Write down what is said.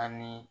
Ani